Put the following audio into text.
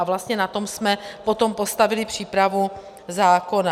A vlastně na tom jsme potom postavili přípravu zákona.